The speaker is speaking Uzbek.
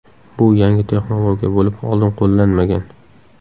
Bu yangi texnologiya bo‘lib, oldin qo‘llanmagan.